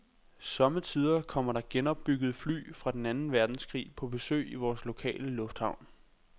Sommetider kommer der genopbyggede fly fra den anden verdenskrig på besøg i vores lokale lufthavn.